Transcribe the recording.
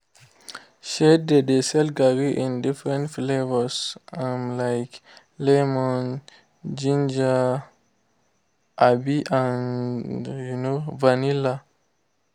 she dey sell garri in different flavours um like lemon ginger um and um vanilla.